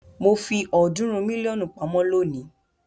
Mo fi ọ̀ọ́dúnrún mílíọ̀nù pamọ́ lónìí.